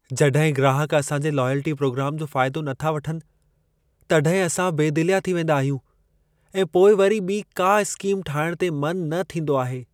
जॾहिं ग्राहक असां जे लॉयल्टी प्रोग्राम जो फ़ाइदो न था वठनि, तॾहिं असां बेदिलिया थी वेंदा आहियूं ऐं पोइ वरी ॿिई का स्कीम ठाहिण ते मन न थींदो आहे।